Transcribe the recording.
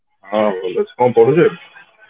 ହଁ ଭଲ ଅଛି କଣ କରୁଛ ଏବେ